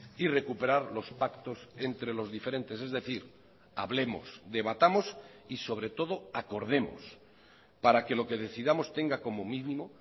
y recuperar los pactos entre los diferentes es decir hablemos debatamos y sobre todo acordemos para que lo que decidamos tenga como mínimo